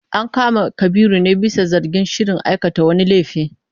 An kama Kabiru ne bisa zargin shirin aikata wani laifi.